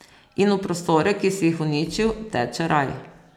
In v prostore, ki si jih uničil, teče raj.